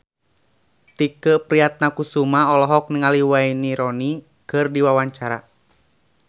Tike Priatnakusuma olohok ningali Wayne Rooney keur diwawancara